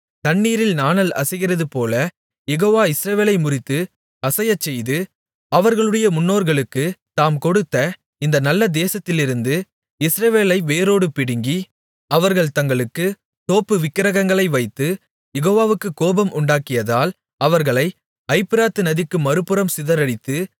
தண்ணீரில் நாணல் அசைகிறதுபோல யெகோவா இஸ்ரவேலை முறித்து அசையச்செய்து அவர்களுடைய முன்னோர்களுக்குத் தாம் கொடுத்த இந்த நல்ல தேசத்திலிருந்து இஸ்ரவேலை வேரோடு பிடுங்கி அவர்கள் தங்களுக்கு தோப்பு விக்கிரகங்களை வைத்து யெகோவாவுக்குக் கோபம் உண்டாக்கியதால் அவர்களை ஐபிராத்து நதிக்கு மறுபுறம் சிதறடித்து